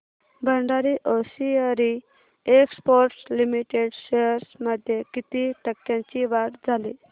Bhandari hosiery exports limited shares मध्ये किती टक्क्यांची वाढ झाली